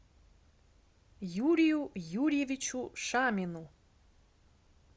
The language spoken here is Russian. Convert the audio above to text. юрию юрьевичу шамину